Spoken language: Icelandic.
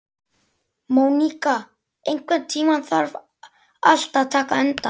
Móníka, einhvern tímann þarf allt að taka enda.